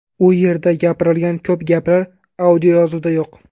U yerda gapirilgan ko‘p gaplar audioyozuvda yo‘q.